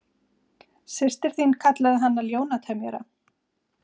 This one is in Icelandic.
Systir þín kallaði hana ljónatemjara.